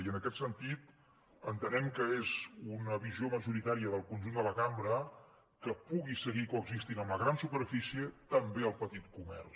i en aquest sentit entenem que és una visió majoritària del conjunt de la cambra que pugui seguir coexistint amb la gran superfície també el petit comerç